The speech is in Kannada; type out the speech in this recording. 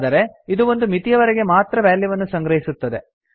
ಆದರೆ ಇದು ಒಂದು ಮಿತಿಯವರೆಗೆ ಮಾತ್ರ ವ್ಯಾಲ್ಯೂವನ್ನು ಸಂಗ್ರಹಿಸುತ್ತದೆ